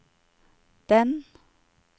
den